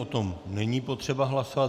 O tom není potřeba hlasovat.